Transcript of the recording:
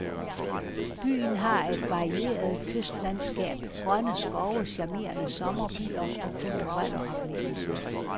Byen har et varieret kystlandskab, grønne skove, charmerende sommerbyer og kulturelle oplevelser.